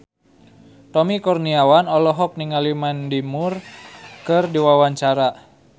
Tommy Kurniawan olohok ningali Mandy Moore keur diwawancara